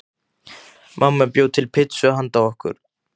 Mamma bjó til pitsu handa okkur.